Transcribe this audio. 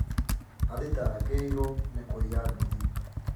Athitagĩirwo nĩ kũiya nduthi